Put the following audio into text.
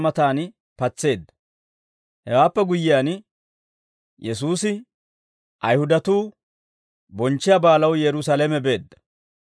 Hewaappe guyyiyaan, Yesuusi Ayihudatuu bonchchiyaa baalaw Yerusaalame beedda.